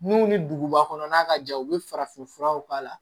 N'u ni duguba kɔnɔn ka jan u bɛ farafinfuraw k'a la